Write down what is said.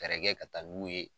Fɛrɛ kɛ ka taa n'u ye